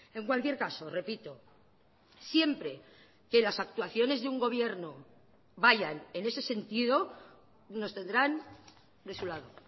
en cualquier caso repito siempre que las actuaciones de un gobierno vayan en ese sentido nos tendrán de su lado